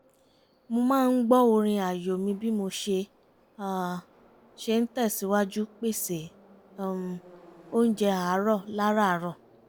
mo máa ń gbọ́ orin ààyò mi bí mo ṣe ṣe ń tẹ̀sìwájú pèsè um oúnjẹ àárọ̀ lárààrọ̀